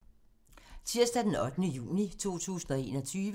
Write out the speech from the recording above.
Tirsdag d. 8. juni 2021